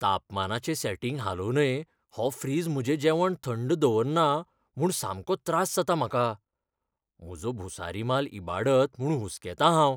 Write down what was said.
तापमानाचें setting हालोवनय हो fridge म्हजें जेवण थंड दवरना म्हूण सामको त्रास जाता म्हाका, म्हजो भुसारी माल इबाडत म्हूण हुसकेतां हांव.